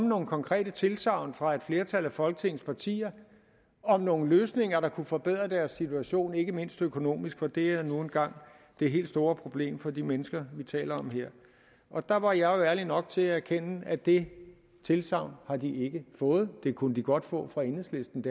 nogle konkrete tilsagn fra et flertal af folketingets partier om nogle løsninger der kunne forbedre deres situation ikke mindst økonomisk for det er nu engang det helt store problem for de mennesker vi her taler om og der var jeg jo ærlig nok til at erkende at det tilsagn har de ikke fået det kunne de godt få fra enhedslistens